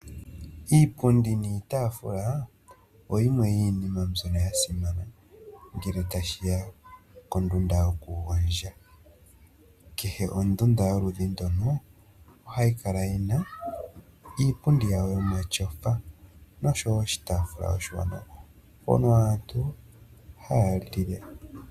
Iipundi niitaafula oyo oyimwe yomiinima mbyono ya simana ngele tashiya kondunda yokugondja. Kehe ondunda yoludhi ndono ohayi kala yi na iipundi yawo yomatyofa nosho woo oshitaafula oshiwanawa mpono aantu haya li le.